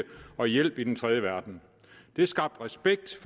og hjælpe i den tredje verden det skabte respekt